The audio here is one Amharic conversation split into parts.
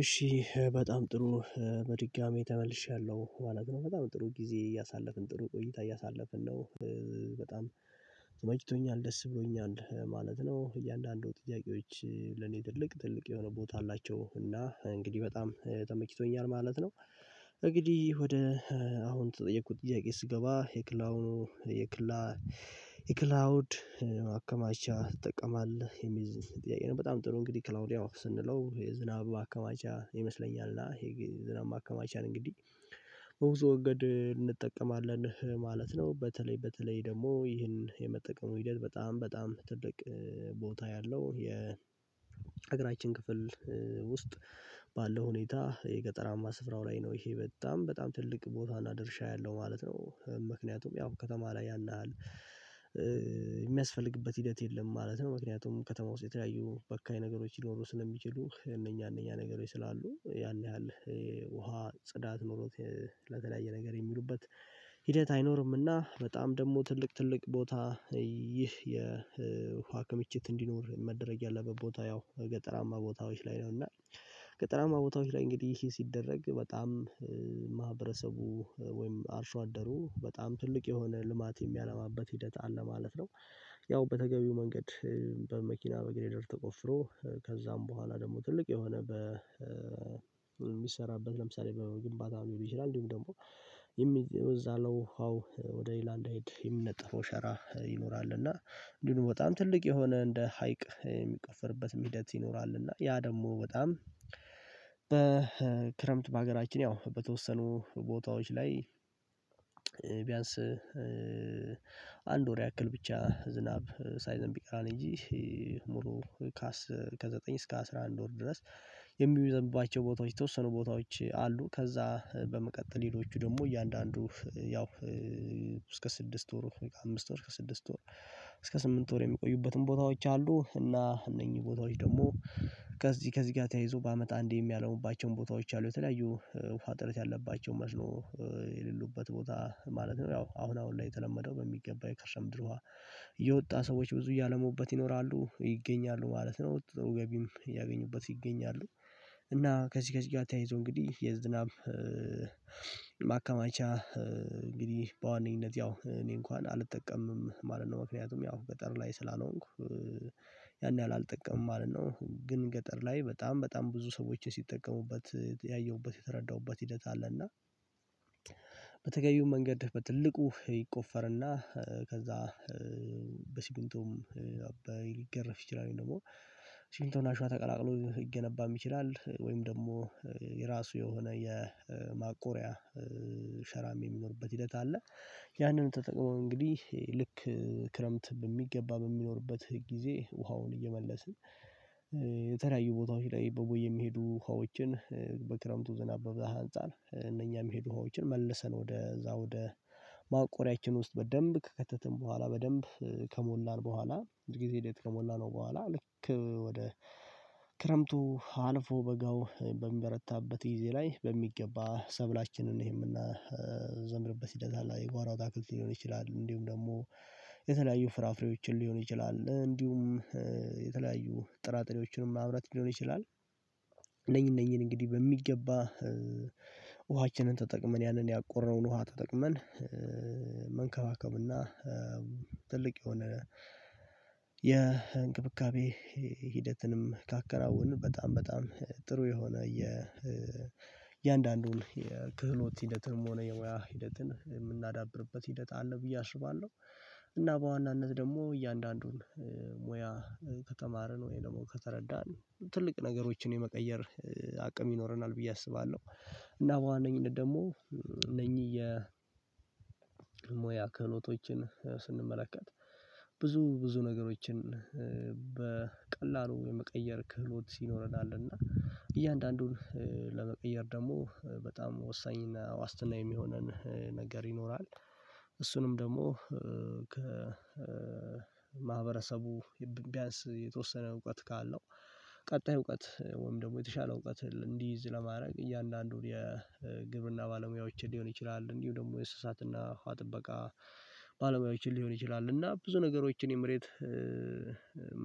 እሺ በጣም ጥሩ። በድጋሚ ተመልሻለሁ ማለት ነው በጣም ጥሩ ጊዜ እያሳለፍን ጥሩ ቆይታ ያሳለፍን ነው። በጣም ተመችቶኛል ደስ ብሎኛል ማለት ነው። እያንዳንዱ ጥያቄዎች ለኔ ትልቅ ትልቅ የሆነ ቦታ አላቸው እና እንግዲህ በጣም ተመችቶኛል ማለት ነው። እንግዲህ ወደ አሁን የተጠየቁት ጥያቄ ስገባ የክላውን የክላ የክላውድ ማከማቻ ትጠቀማለህ የሚል ጥያቄ ነው? በጣም ጥሩ እንግዲህ ክላውድ ያው ስንለው የዝናብ ማከማቻ ይመስለኛልና የዝናብ ማከማቻን እንግዲህ በብዙ መንገድ እንጠቀማለን ማለት ነው። በተለይ በተለይ ደግሞ ይህን የመጠቀሙ ሂደት በጣም በጣም ትልቅ ቦታ ያለው የ የሀገራችን ክፍል ውስጥ ባለው ሁኔታ የገጠራማ ስፍራው ላይ ነው። ይሄ በጣም በጣም ትልቅ ቦታና ድርሻ ያለው ማለት ነው። ምክንያቱም ያው ከተማ ላይ ያንሃል የሚያስፈልግበት ሂደት የለም ማለት ነው። ምክንያቱም ከተማ ውስጥ የተለያዩ በካይ ነገሮች ሊኖሩ ስለሚችሉ እነኛ እነኛ ነገሮች ስላሉ ያን ያህል ውሃ ጽዳት ኖሮት ለተለያየ ነገር የሚሉበት ሂደት አይኖርምና። በጣም ደግሞ ትልቅ ትልቅ ቦታ ይህ የውሃ ክምችት እንዲኖር መደረግ ያለበት ቦታ ያው ገጠራማ ቦታዎች ላይ ነውና። ገጠራማ ቦታዎች ላይ እንግዲህ ይሄ ሲደረግ በጣም ማህበረሰቡ ወይም አርሶ አደሩ በጣም ትልቅ የሆነ ልማት የሚያለማበት ሂደት አለ ማለት ነው። ያው በተገቢው መንገድ በመኪና በግሬደር ተቆፍሮ ከዛም በኋላ ደግሞ ትልቅ የሆነ በ በሚሰራበት ለምሳሌ በግንባታ ሊሆን ይችላል። እንዲሁም ደግሞ ከዛ በኋላ ውሃው ወደ ሌላ እንዳይሄድ የሚነጠፈው ሸራ ይኖራል እና እንዲሁም በጣም ትልቅ የሆነ እንደ ሀይቅ የሚቆፈርበትም ሂደት ይኖራል። እና ያ ደግሞ በጣም በክረምት በሀገራችን ያው በተወሰኑ ቦታዎች ላይ ቢያንስ አንድ ወር ያክል ብቻ ዝናብ ሳይዘንብ ይቀራል እንጂ ሙሉ ከዘጠኝ እስከ አስራ አንድ ወር ድረስ የሚዘምብባቸው ቦታዎች የተወሰኑ ቦታዎች አሉ። ከዛ በመቀጠል ሌሎቹ ደግሞ እያንዳንዱ ያው ስድስት ወር አምስት ወር እስከ ስድስት ወር እስከ ስምንት ወር የሚቆዩበትም ቦታዎች አሉ። እና እነኚህ ቦታዎች ደግሞ ከዚህ ከዚህ ጋር ተያይዞ በአመት አንዴ የሚያለሙባቸው ቦታዎች አሉ የተለያዩ ውሃ እጥረት ያለባቸው መስኖ የሌሉበት ቦታ ማለት ነው። ያው አሁን አሁን ላይ የተለመደው በሚገባ የከርሰ ምድር ውሃ እየወጣ ሰዎች ብዙ እያለሙበት ይኖራሉ ይገኛሉ ማለት ነው ገቢም እያገኙበት ይገኛሉ። እና ከዚህ ከዚህ ጋር አታይዞ እንግዲህ የዝናብ ማካማቻ እንግዲህ በዋነኝነት ያው እኔ እንኳን አልጠቀምም ማለት ነው ምክንያቱም ያው ገጠር ላይ ስላልሆንኩ ያን ያህል አልጠቀምም ማለት ነው። ግን ገጠር ላይ በጣም በጣም ብዙ ሰዎችን ሲጠቀሙበት ያየሁበት የተረዳሁበት ሂደት አለ እና በተገቢው መንገድ በትልቁ ይቆፈርና ከዛ በሲሚንቶ አባይ ሊገረፍ ይችላል ወይም ደግሞ ሲሚንቶ እና አሸዋ ተቀላቅሎ ሊገነባም ይችላል ወይም ደግሞ የራሱ የሆነ የማቆሪያ ሸራም የሚኖርበት ሂደት አለ። ያንን ተጠቅመው እንግዲህ ልክ ክረምት በሚገባ በሚኖርበት ጊዜ ውሃውን እየመለስን የተለያዩ ቦታዎች ላይ በቦይ የሚሄዱ ውሃዎችን በክረምቱ ዝናብ በብዛት አንፃር እነኛ የሚሄዱ ውሃዎችን መልሰን ወደ እዛ ወደ ማቆሪያችን ውስጥ በደንብ ከከተትን በኋላ በደንብ ከሞላን በኋላ በጊዜ ሂደት ከሞላነው በኋላ ልክ ወደ ክረምቱ አልፎ በጋው በሚበረታበት ጊዜ ላይ በሚገባ ሰብላችንን የምናዘምርበት ሂደት የጓሮ አታክልት ሊሆን ይችላል እንዲሁም ደግሞ የተለያዩ ፍራፍሬዎችን ሊሆን ይችላል እንዲሁም የተለያዩ ጥራጥሬዎችንም ማምረት ሊሆን ይችላል። እነኚህ እነኚህን እንግዲህ በሚገባ ውሃችንን ተጠቅመን ያንን ያቆረነውን ውሃ ተጠቅመን መንከባከብና ትልቅ የሆነ የእንክብካቤ ሂደትንም ካከናወንን በጣም በጣም ጥሩ የሆነ የእያንዳንዱን የክህሎት ሂደትንም ሆነ የሙያ ሂደትን የምናዳብርበት ሂደት አለ ብዬ አስባለሁ። እና በዋናነት ደግሞ እያንዳንዱን ሙያ ከተማርን ወይም ደግሞ ከተረዳን ትልቅ ነገሮችን የመቀየር አቅም ይኖረናል ብዬ አስባለሁ። እና በዋነኝነት ደግሞ እነኚህ የሙያ ክህሎቶችን ስንመለከት ብዙ ብዙ ነገሮችን በቀላሉ የመቀየር ክህሎት ይኖረናል እና እያንዳንዱን ለመቀየር ደግሞ በጣም ወሳኝና ዋስትና የሚሆነን ነገር ይኖራል። እሱንም ደግሞ ከማህበረሰቡ ቢያንስ የተወሰነ እውቀት ካለው ቀጣይ እውቀት ወይም ደግሞ የተሻለ እውቀት እንዲይዝ ለማድረግ እያንዳንዱን የግብርና ባለሙያዎችን ሊሆን ይችላል። እንዲሁ ደግሞ የእስሳትና ውሃ ጥበቃ ባለሙያዎችን ሊሆን ይችላል። እና ብዙ ነገሮችን የመሬት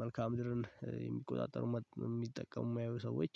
መልክአ ምድርን የሚቆጣጠሩ የሚጠቀሙ የማየው ሰዎች